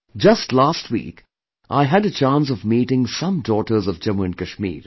Just last week, I had a chance of meeting some daughters of Jammu & Kashmir